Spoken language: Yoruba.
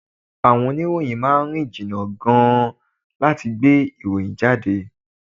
Àwọn oníròyìn máà ń rìn jìnnà gan-an láti gbé ìròyìn jáde.